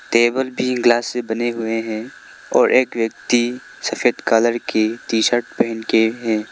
तेबर भी ग्लास से बने हुए हैं और एक व्यक्ति सफेद कलर की टी-शर्ट पहन के हैं।